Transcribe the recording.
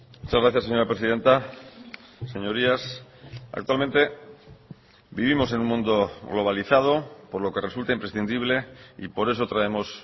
muchas gracias señora presidenta señorías actualmente vivimos en un mundo globalizado por lo que resulta imprescindible y por eso traemos